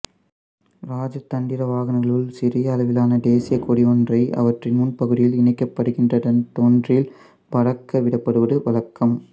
இராஜதந்திர வாகனங்களும் சிறிய அளவிலான தேசியக் கொடியொன்றை அவற்றின் முன்பகுதியில் இணைக்கப்படுகின்ற தண்டொன்றில் பறக்கவிடப்படுவது வழக்கம்